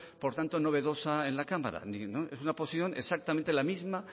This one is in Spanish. por tanto novedosa en la cámara es una posición exactamente la misma